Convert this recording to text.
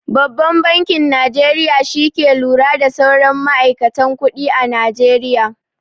Babban bankin Najeriya shi ke lura da sauran ma'aikatan kuɗi a najeriya.